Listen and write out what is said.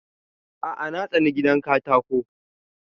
A'a na tsani gidan katako